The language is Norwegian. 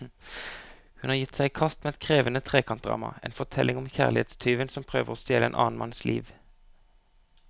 Hun har gitt seg i kast med et krevende trekantdrama, en fortelling om kjærlighetstyven som prøver å stjele en annen manns liv.